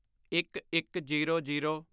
ਇੱਕਇੱਕਜ਼ੀਰੋ zero